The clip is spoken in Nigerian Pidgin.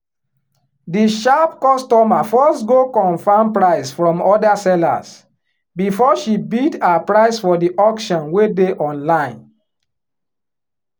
di sharp customer first go confirm price from other sellers before she bid her price for di auction wey dey online